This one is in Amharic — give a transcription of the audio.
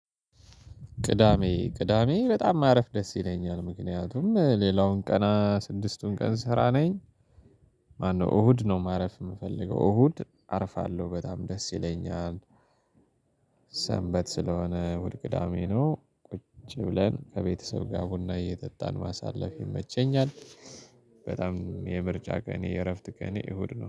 ቅዳሜ ቅዳሜ በጣም ማረፍ ደስ ይለኛል ምክንያቱም ሌላውን ቀና ስድስቱን ቀን ስራ ነኝ። ማነው እሁድ ነው። ማረፍ የምፈልገው እሁድ አርፋለሁ በጣም ደስ ይለኛል። ሰንበት ስለሆነ እሁድ ቅዳሜ ነው ቁጭ ብለን ከቤተሰብ ጋር ቡና እየጠጣን ማሳለፍ ይመቸኛል። በጣም የምርጫ ቀኔ የእረፍት ቀኔ እሁድ ነው